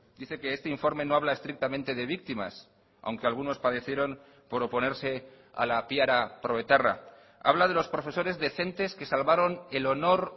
dice que este informe no habla estrictamente de víctimas aunque algunos padecieron por oponerse a la piara proetarra habla de los profesores decentes que salvaron el honor